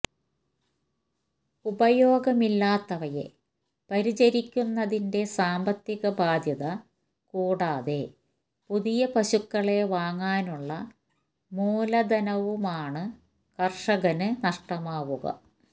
ഉപയോഗമില്ലാത്തവയെ പരിചരിക്കുന്നതിന്റെ സാന്പത്തിക ബാധ്യത കൂടാതെ പുതിയ പശുക്കളെ വാങ്ങാനുള്ള മൂലധനവുമാണ് കർഷകന് നഷ്ടമാകുക